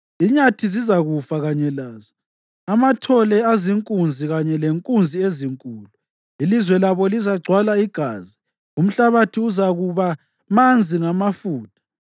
Inyathi zizakufa kanye lazo, amathole azinkunzi kanye lenkunzi ezinkulu. Ilizwe labo lizagcwala igazi, umhlabathi uzakuba manzi ngamafutha.